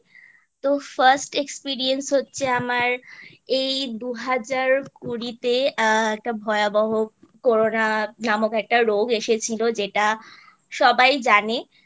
তো First Experience হচ্ছে আমার এই দুহাজার কুড়িতে আ একটা ভয়াবহ Corona নামক একটা রোগ এসেছিলো যেটা সবাই জানে